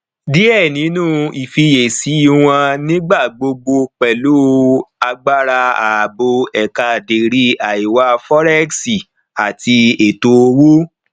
díẹ nínú ìfiyèsí wọn nígbà gbogbo pẹlú agbára ààbò eekaderi àìwá forex àti ètò owó